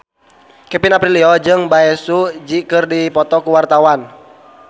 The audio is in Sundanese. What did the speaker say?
Kevin Aprilio jeung Bae Su Ji keur dipoto ku wartawan